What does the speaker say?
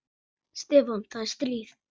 Stefán, það er stríð.